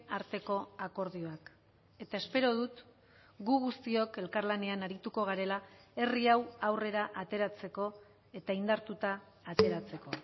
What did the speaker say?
arteko akordioak eta espero dut gu guztiok elkarlanean arituko garela herri hau aurrera ateratzeko eta indartuta ateratzeko